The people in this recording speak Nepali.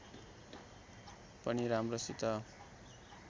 पनि राम्रोसित